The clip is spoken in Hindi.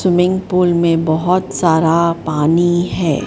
स्विमिंग पूल में बहोत सारा पानी है।